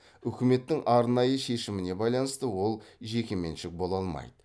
үкіметтің арнайы шешіміне байланысты ол жекеменшік бола алмайды